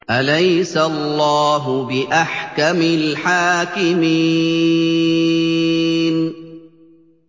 أَلَيْسَ اللَّهُ بِأَحْكَمِ الْحَاكِمِينَ